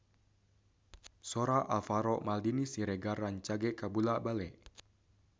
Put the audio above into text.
Sora Alvaro Maldini Siregar rancage kabula-bale